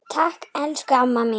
Takk, elsku amma mín.